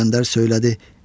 İsgəndər söylədi: